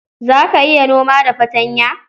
Za ka iya noma da fartanya?